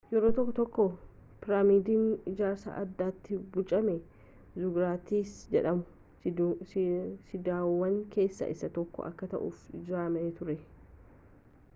yeroo tokko tokko piraamiidiin ijaarsa addaatti bocame ziguraatsi jedhamu siidaawwan keessa isa tokko akka ta'uuf ijaarame ture